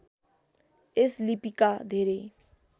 यस लिपिका धेरै